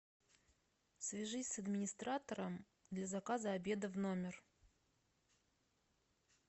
свяжись с администратором для заказа обеда в номер